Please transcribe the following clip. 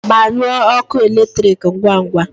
Gbanyụọ ọkụ eletrik ngwa ngwa!